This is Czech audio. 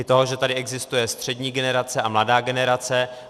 I to, že tady existuje střední generace a mladá generace.